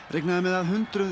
reiknað er með að hundruð